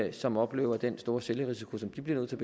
og som oplever at den store selvrisiko som de bliver nødt til